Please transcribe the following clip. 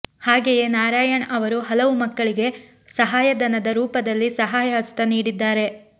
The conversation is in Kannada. ಹಾಗೆಯೇ ನಾರಾಯಣ್ ಅವರು ಹಲವು ಮಕ್ಕಳಿಗೆ ಸಹಾಯಧನದ ರೂಪದಲ್ಲಿ ಸಹಾಯ ಹಸ್ತ ನೀಡಿದ್ದಾರೆ